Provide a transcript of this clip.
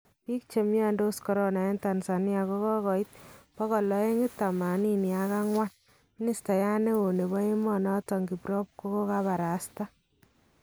Bik chemiodos corona eng Tanzania kokoit284, Ministayat neo nebo emonoton kiprop kokabarasta.